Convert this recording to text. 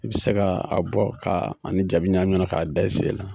I be se k'a bɔ k'ani jabi ɲami ɲɔgɔn na k'a bɔ